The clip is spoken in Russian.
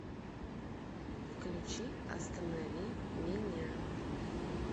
включи останови меня